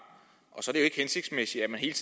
og så er ikke hensigtsmæssigt at man hele